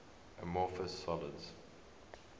amorphous solids